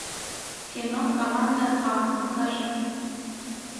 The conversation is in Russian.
кино команда а покажи